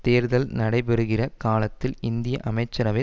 தேர்தல் நடைபெறுகிற காலத்தில் இந்திய அமைச்சரவை